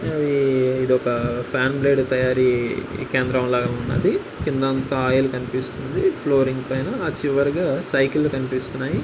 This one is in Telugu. ఆ ఈ ఇదొక తయారీ కేంద్రం లాగా ఉన్నది. కిందంతా ఆయిల్ కనిపిస్తుంది. ఫ్లోరింగ్ పైన చివరగా సైకిళ్ళు కనిపిస్తున్నాయి.